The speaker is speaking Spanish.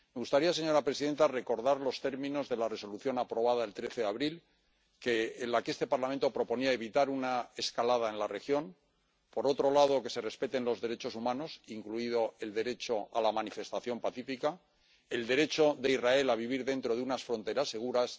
Me gustaría, señora presidenta, recordar los términos de la Resolución aprobada el 19 de abril, en la que este Parlamento pedía que se evitase una escalada en la región y que se respetasen los derechos humanos, incluido el derecho a la manifestación pacífica, así como el derecho de Israel a vivir dentro de unas fronteras seguras